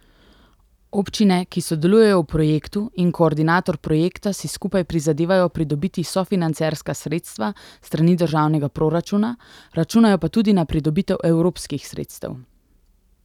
Občine, ki sodelujejo v projektu, in koordinator projekta si skupaj prizadevajo pridobiti sofinancerska sredstva s strani državnega proračuna, računajo pa tudi na pridobitev evropskih sredstev.